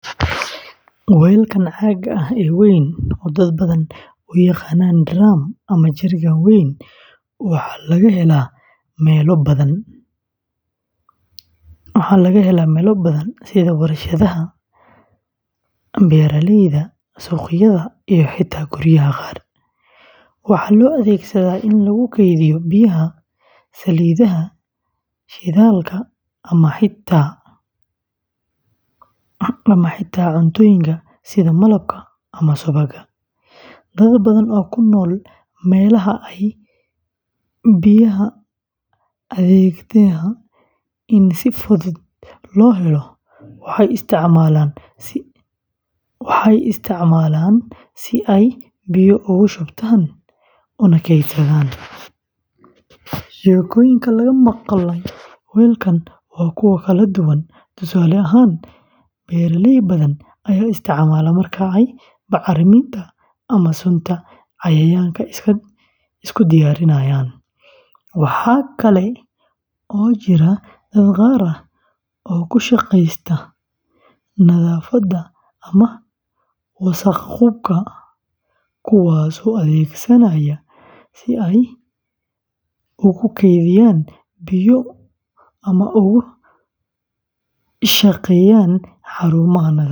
Weelkan caagga ah ee weyn, oo dad badani u yaqaanaan "drum" ama "jerrycan weyn", waxaa laga helaa meelo badan sida warshadaha, beeralayda, suuqyada iyo xitaa guryaha qaar. Waxaa loo adeegsadaa in lagu kaydiyo biyaha, saliidaha, shidaalka, ama xitaa cuntooyinka sida malabka ama subagga. Dad badan oo ku nool meelaha ay biyaha adagtahay in si fudud loo helo waxay isticmaalaan si ay biyo ugu shubtaan una keydsadaan. Sheekooyinka laga maqlay weelkan waa kuwo kala duwan. Tusaale ahaan, beeraley badan ayaa isticmaala marka ay bacriminta ama sunta cayayaanka isku diyaarinayaan. Waxa kale oo jira dad qaar oo ku shaqeysta nadaafadda ama wasakh-qubka kuwaasoo adeegsanaya si ay ugu kaydiyaan biyo ay ugu shaqeeyaan xarumaha nadaafadda.